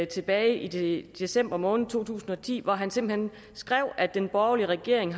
tilbage i december måned to tusind og ti hvor han simpelt hen skrev at den borgerlige regering